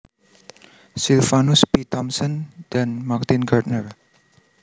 Silvanus P Thompson dan Martin Gardner